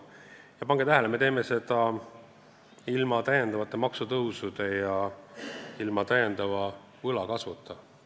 Ja pange tähele: me teeme seda kõike ilma täiendavate maksutõusudeta ja ilma täiendava võla kasvuta.